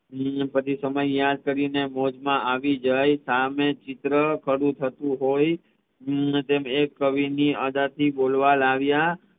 હમ પછી એ સમય યાદ કરીને મોજ મા આવી જવાય સામે ચિત્ર શરુ થતું હોઈ એક કવિની બોલવા લાવ્યા